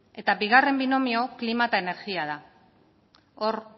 eta bigarren binomioa klima eta energia da hor